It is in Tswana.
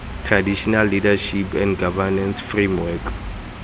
traditional leadership and governance framework